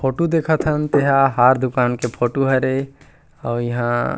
photo देखथन तेहा हर दुकान के फोटो हरे और इहां --